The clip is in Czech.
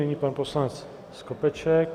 Nyní pan poslanec Skopeček.